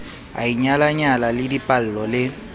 a inyalanyang le dipallo le